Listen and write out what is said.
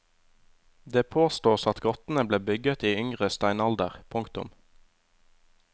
Det påstås at grottene ble bygget i yngre steinalder. punktum